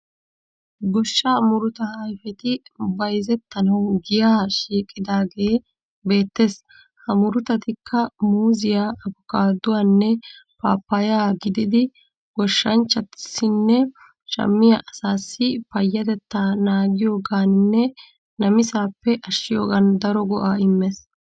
Goshshaa murutaa ayifeti bayizettanawu giyaa shiiqidaagee beettees. Ha murutatikka muuzziya, abokaadduwanne paappayaa gididi goshshanchchaassinne shammiya asaassi payyatettaa naagiyogaaninne namisaappe ashshiyoogan daro go'aa immees.